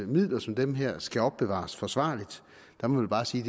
midler som dem her skal opbevares forsvarligt så må vi bare sige